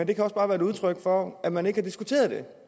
kan også bare være et udtryk for at man ikke har diskuteret